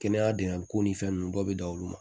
Kɛnɛya degun ni fɛn ninnu bɛɛ bɛ da olu ma